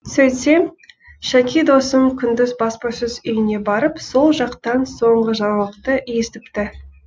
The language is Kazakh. сөйтсем шәки досым күндіз баспасөз үйіне барып сол жақтан соңғы жаңалықты естіпті